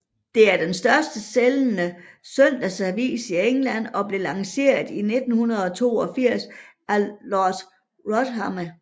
Det er den største sælgende søndagsavis i England og blev lanceret i 1982 af Lord Rothermere